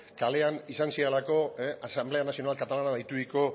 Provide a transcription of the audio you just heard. kalean izan zirelako asamblea nacional catalana deituriko